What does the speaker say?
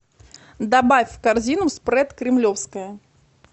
добавь в корзину спред кремлевское